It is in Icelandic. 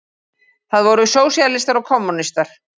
Það voru sósíalistar og kommúnistar.